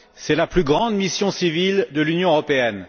C'est la plus grande mission civile de l'Union européenne.